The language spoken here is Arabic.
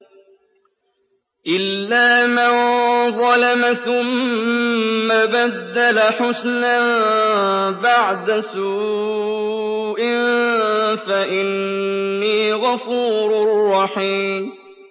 إِلَّا مَن ظَلَمَ ثُمَّ بَدَّلَ حُسْنًا بَعْدَ سُوءٍ فَإِنِّي غَفُورٌ رَّحِيمٌ